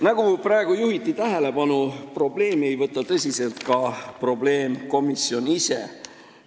Nagu praegu tähelepanu juhiti, seda probleemi ei võta tõsiselt ka probleemkomisjon ise.